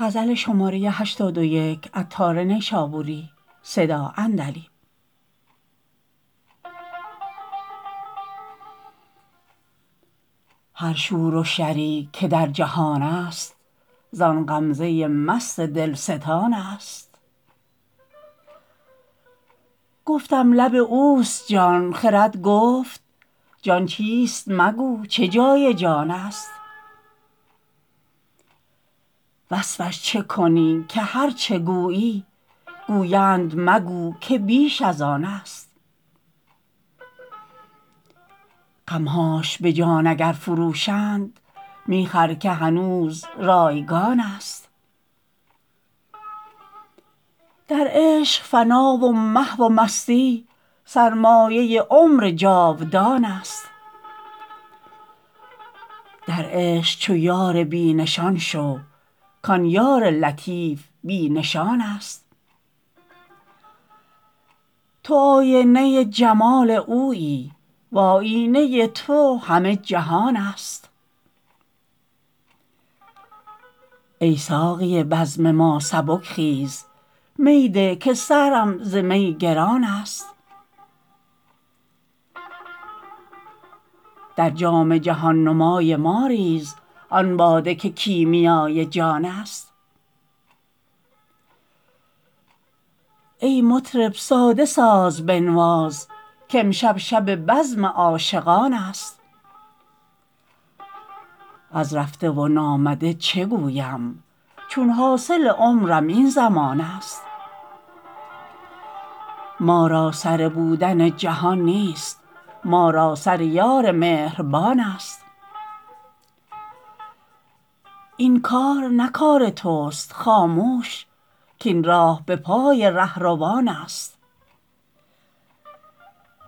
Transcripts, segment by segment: هر شور و شری که در جهان است زان غمزه مست دلستان است گفتم لب اوست جان خرد گفت جان چیست مگو چه جای جان است وصفش چه کنی که هرچه گویی گویند مگو که بیش از آن است غمهاش به جان اگر فروشند می خر که هنوز رایگان است در عشق فنا و محو و مستی سرمایه عمر جاودان است در عشق چو یار بی نشان شو کان یار لطیف بی نشان است تو آینه جمال اویی و آیینه تو همه جهان است ای ساقی بزم ما سبک خیز می ده که سرم ز می گران است در جام جهان نمای ما ریز آن باده که کیمیای جان است ای مطرب ساده ساز بنواز کامشب شب بزم عاشقان است از رفته و نامده چه گویم چون حاصل عمرم این زمان است ما را سر بودن جهان نیست ما را سر یار مهربان است این کار نه کار توست خاموش کاین راه به پای رهروان است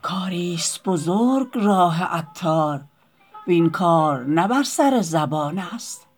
کاری است بزرگ راه عطار وین کار نه بر سر زبان است